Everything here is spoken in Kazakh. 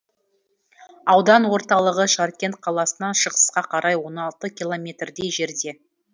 аудан орталығы жаркент қаласынан шығысқа қарай он алты километрдей жерде